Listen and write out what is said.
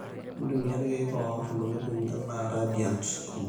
intumia ilkiek oor ntokitin anaa Radiant o Match